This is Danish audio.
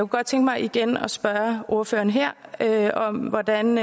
godt tænke mig igen at spørge ordføreren her her om hvordan